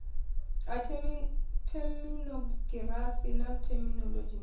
a theminogirafi na theminolodzhi na